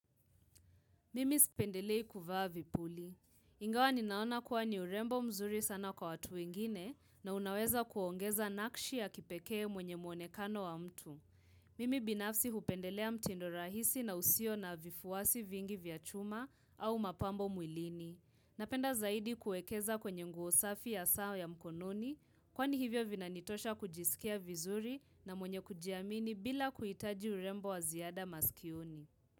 Mimi sipendelei kuvaa vipuli. Ingawa ninaona kuwa ni urembo mzuri sana kwa watu ingine na unaweza kuongeza nakshi ya kipekee mwenye mwonekano wa mtu. Mimi binafsi hupendelea mtindo rahisi na usio na vifuwasi vingi vya chuma au mapambo mwilini. Napenda zaidi kuekeza kwenye nguosafi ya saa ya mkononi, kwa ni hivyo vinanitosha kujisikia vizuri na mwenye kujiamini bila kuitaji urembo waziada maskioni.